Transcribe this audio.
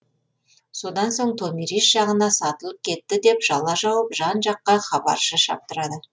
содан соң томирис жағына сатылып кетті деп жала жауып жан жаққа хабаршы шаптырады